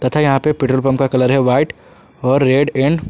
तथा यहां पे पेट्रोल पंप के कलर है व्हाइट और रेड एंड --